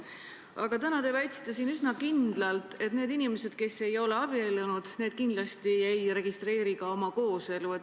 Aga täna te väitsite siin üsna kindlalt, et need inimesed, kes ei ole abiellunud, kindlasti ei registreeri ka oma kooselu.